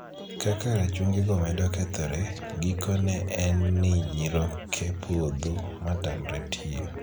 Kaka rachungigo medo kethore, gikone en ni nyiroke podho ma tamre tich.